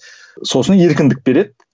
сосын еркіндік береді